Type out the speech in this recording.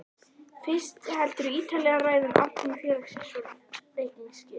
Fyrst heldurðu ítarlega ræðu um afkomu félagsins og reikningsskil.